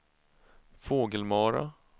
Fågelmara